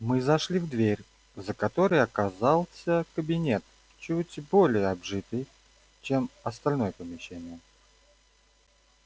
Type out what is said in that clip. мы зашли в дверь за которой оказался кабинет чуть более обжитый чем остальное помещение